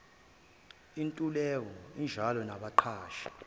intuleka injalo nabaqashi